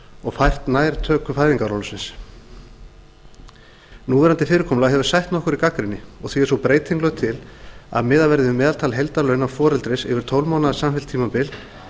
og fært nær töku fæðingarorlofsins núverandi fyrirkomulag hefur sætt nokkurri gagnrýni og því er sú breyting lögð til að miðað verði við meðaltal heildarlauna foreldris yfir tólf mánaða samfellt tímabil